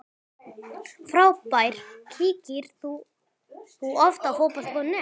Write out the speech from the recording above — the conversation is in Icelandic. Frábær Kíkir þú oft á Fótbolti.net?